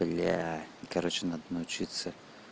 бля короче надо научиться